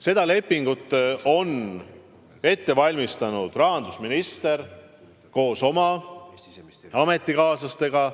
Seda lepingut on ette valmistanud rahandusminister koos oma ametikaaslastega.